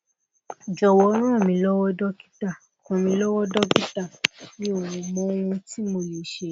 jowo ranmilowo dokita ranmilowo dokita mi o mo ohun ti mo le se